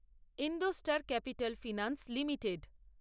IndoStar capital finance limited